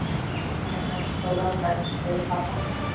eða þegar stórar bergskriður falla.